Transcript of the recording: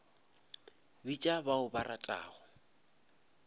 bitša ba o ba ratago